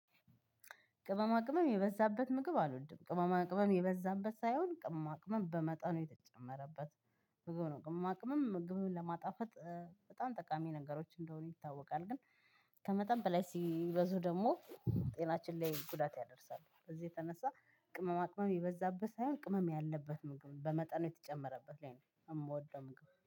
ቅመማ ቅመም የበዛበት ምግብ አልወድም ቅመማ ቅመም የበዛበት ሳይሆን ቅመማ ቅመም በመጠኑ የተጨመረበት። ብዙ ነው ቅመማ ቅመም ምግብን ለማጣፈጥ በጣም ጠቃሚ ነገሮች እንደሆኑ ይታወቃል። ግን ከመጠን በላይ ሲበዙ ደግሞ ጤናችን ላይ ጉዳት ያደርሳሉ። በዚህ የተነሳ ቅመማ ቅመም ይበዛበት ሳይሆን ቅመም ያለበት ምግብ በመጠኑ የተጨመረበት ላይ ነው እምወደው ምግብ